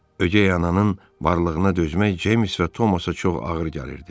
Ögey ananın varlığına dözmək James və Thomasa çox ağır gəlirdi.